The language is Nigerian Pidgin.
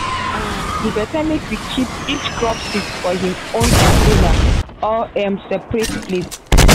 um e better make you keep each crop seed for him own container or um separate place.